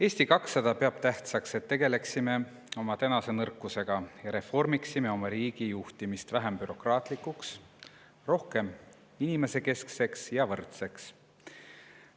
Eesti 200 peab tähtsaks, et me tegeleksime oma tänase nõrkusega ja reformiksime oma riigi juhtimist vähem bürokraatlikuks, rohkem inimesekeskseks ja võrdseks.